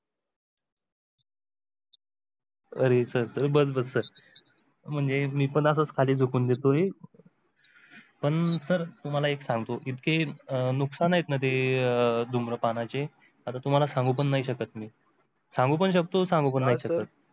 अरे sir बस बस, म्हणजे मी पण असेच खाली झुकून देतोय पण sir तुम्हला एक सांगतो इतके नुकसान आहेत ना ते अं धूम्रपानाचे आता तुम्हाला सांगू पण नाही शकत मी. सांगू पण शकतो, सांगू पण नाही शकत.